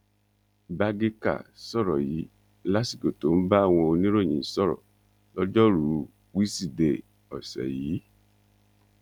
bágékà sọrọ yìí lásìkò tó ń bá àwọn oníròyìn sọrọ lọjọrùú wíṣídẹẹ ọsẹ yìí